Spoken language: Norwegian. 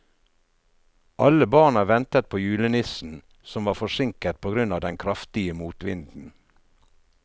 Alle barna ventet på julenissen, som var forsinket på grunn av den kraftige motvinden.